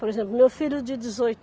Por exemplo, meu filho de dezoi